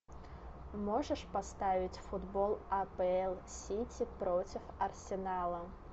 можешь поставить футбол апл сити против арсенала